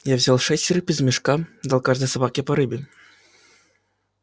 я взял шесть рыб из мешка дал каждой собаке по рыбе